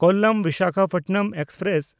ᱠᱚᱞᱟᱢ–ᱵᱤᱥᱟᱠᱷᱟᱯᱟᱴᱱᱟᱢ express